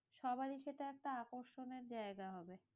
সবাই সেটা একটা আকর্ষণের জায়গা হবে।